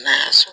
N'a y'a sɔrɔ